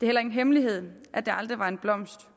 heller ingen hemmelighed at det aldrig var en blomst